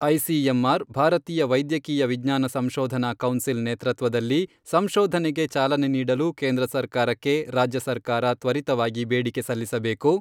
ICMR ಭಾರತೀಯ ವೈದ್ಯಕೀಯ ವಿಜ್ಞಾನ ಸಂಶೋಧನಾ ಕೌನ್ಸಿಲ್ ನೇತೃತ್ವದಲ್ಲಿ ಸಂಶೋಧನೆಗೆ ಚಾಲನೆ ನೀಡಲು ಕೇಂದ್ರ ಸರ್ಕಾರಕ್ಕೆ ರಾಜ್ಯ ಸರ್ಕಾರ ತ್ವರಿತವಾಗಿ ಬೇಡಿಕೆ ಸಲ್ಲಿಸಬೇಕು.